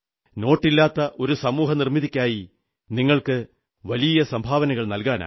നോട്ടില്ലാത്ത ഒരു സമൂഹനിർമ്മിതിക്കായി നിങ്ങൾക്ക് വലിയ സംഭാവനകൾ നല്കാനാകും